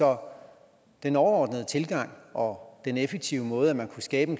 om den overordnede tilgang og den effektive måde man kunne skabe